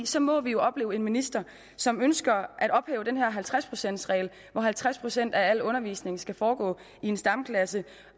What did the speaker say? så må vi jo opleve en minister som ønsker at ophæve den her halvtreds procents regel hvor halvtreds procent af al undervisning skal foregå i stamklassen